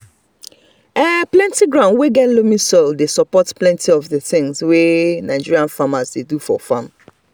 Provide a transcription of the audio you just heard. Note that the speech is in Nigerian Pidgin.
plenty ground wey get loamy soil dey support plenty of the things wey nigerian farmers dey do for farm.